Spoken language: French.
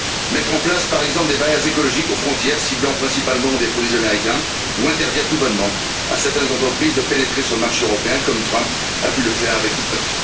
Mettre en place, par exemple, des barrières écologiques aux frontières ciblant principalement des produits américains ou interdire tout bonnement à certaines entreprises de pénétrer sur le marché européen, comme Trump a pu le faire avec TikTok.